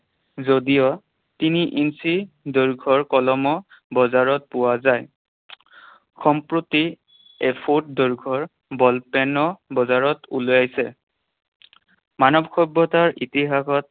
যদিও তিনি ইঞ্চি দৈৰ্ঘ্যৰ কলমো বজাৰত পোৱা যায়। সম্প্ৰতি এফুট দৈৰ্ঘ্যৰ ball pen ও বজাৰত ওলাইছে। মানৱ সভ্যতাৰ ইতিহাসত